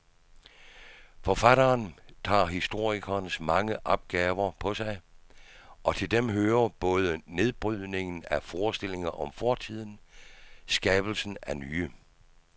Forfatteren tager historikerens mange opgaver på sig, og til dem hører både nedbrydningen af forestillinger om fortiden skabelsen af nye.